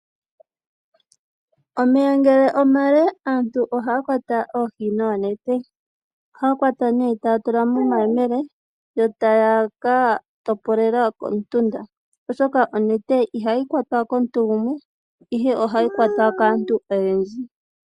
Omeya ngele omale aantu ohaya kwata oohi noonete. ohaya kwata nduno taya tula momayemele yo taya ka topolela komutunda, oshoka onete ihayi kwatwa komuntu gumwe, ihe ohayi kwatwa kaantu oyendji.